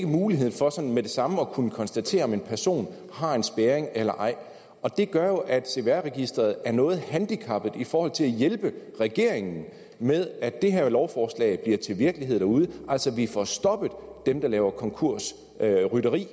mulighed for sådan med det samme at kunne konstatere om en person har en spærring eller ej og det gør jo at cvr registeret er noget handicappet i forhold til at hjælpe regeringen med at det her lovforslag bliver til virkelighed derude altså at vi får stoppet dem der laver konkursrytteri